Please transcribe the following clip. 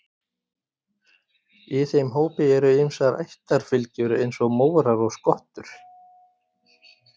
í þeim hópi eru ýmsar ættarfylgjur eins og mórar og skottur